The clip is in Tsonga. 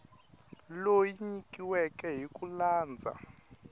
leyi nyikiweke hi ku landza